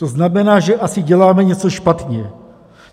To znamená, že asi děláme něco špatně.